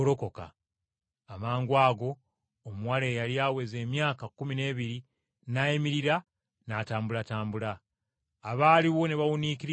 Amangwago omuwala eyali aweza emyaka kkumi n’ebiri, n’ayimirira n’atambulatambula. Abaaliwo ne bawuniikirira nnyo.